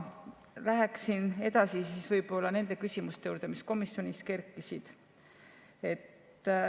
Lähen edasi nende küsimuste juurde, mis komisjonis kerkisid.